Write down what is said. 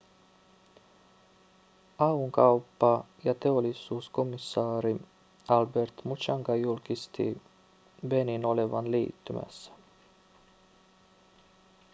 au:n kauppa- ja teollisuuskomissaari albert muchanga julkisti beninin olevan liittymässä